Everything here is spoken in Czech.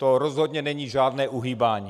To rozhodně není žádné uhýbání.